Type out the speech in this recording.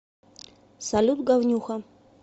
салют говнюха